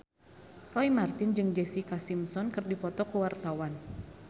Roy Marten jeung Jessica Simpson keur dipoto ku wartawan